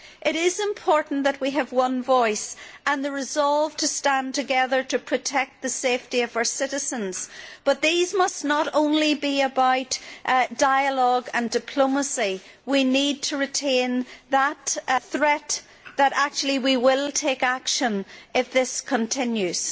It is important that we have one voice and the resolve to stand together to protect the safety of our citizens, but these must not only be about dialogue and diplomacy we need to retain the threat that actually we will take action if this continues.